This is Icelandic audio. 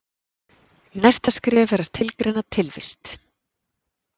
Næsta skref er að skilgreina tilvist.